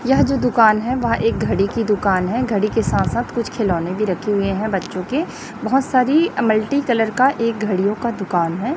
यह जो दुकान है वह एक घड़ी की दुकान है घड़ी के साथ साथ कुछ खिलौने भी रखे हुए हैं बच्चों के बहोत सारी मल्टी कलर का एक घड़ीयो का दुकान है।